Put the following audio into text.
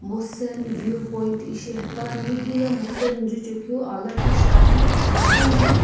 mosen view point ishi hipane heye mosen jujae keu ah lakhi shiane ano.